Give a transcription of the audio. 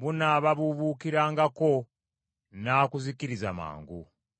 bunaababuubuukirangako n’akuzikiriza mangu.